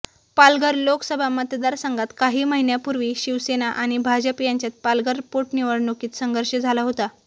पालघर लोकसभा मतदारसंघात काही महिन्यापूर्वी शिवसेना आणि भाजप यांच्यात पालघर पोटनिवडणुकीत संघर्ष झाला होता